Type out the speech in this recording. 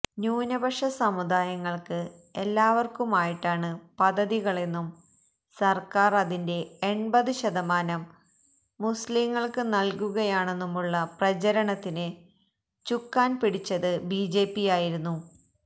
ന്യൂനപക്ഷസമുദായങ്ങൾക്ക് എല്ലാവർക്കുമായിട്ടാണ് പദ്ധതികളെന്നും സർക്കാർ അതിന്റെ എൺപത് ശതമാനം മുസ്ലിംങ്ങൾക്ക് നൽകുകയാണെന്നുമുള്ള പ്രചാരണത്തിന് ചുക്കാൺ പിടിച്ചത് ബിജെപിയായിരുന്നു